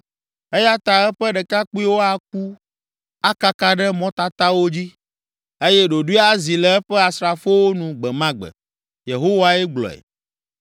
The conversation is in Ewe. Eya ta eƒe ɖekakpuiwo aku akaka ɖe mɔtatawo dzi eye ɖoɖoe azi le eƒe asrafowo nu gbe ma gbe.” Yehowae gblɔe.